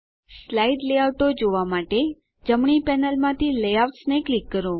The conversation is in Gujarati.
સ્લાઇડ લેઆઉટો જોવાં માટે જમણી પેનલમાંથી લેઆઉટ્સ ને ક્લિક કરો